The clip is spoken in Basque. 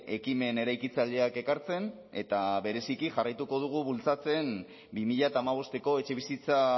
ekimen eraikitzaileak ekartzen eta bereziki jarraituko dugu bultzatzen bi mila hamabosteko etxebizitza